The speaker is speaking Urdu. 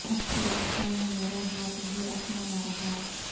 اب تو لگتا ہے میرا ہاتھ بھی اپنا نہ رہا